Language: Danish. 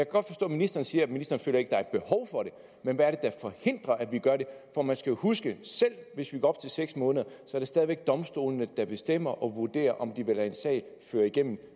godt forstå at ministeren siger at ministeren ikke er et behov for det men hvad er forhindrer at vi gør det for man skal huske at selv hvis vi går op til seks måneder er det stadig væk domstolene der bestemmer og vurderer om de vil lade en sag føre igennem